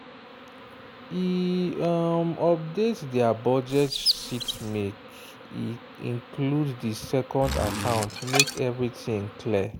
e um update their budget sheetmake e include the second account make everything clear.